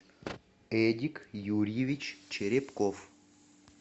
эдик юрьевич черепков